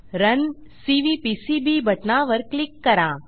run CVPCB बटणावर click करा